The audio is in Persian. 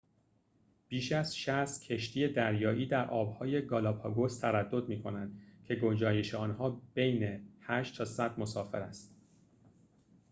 بیش از ۶۰ کشتی دریایی در آبهای گالاپاگوس تردد می‌کنند که گنجایش آنها بین ۸ تا ۱۰۰ مسافر است